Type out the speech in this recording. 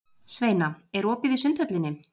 Sveina, er opið í Sundhöllinni?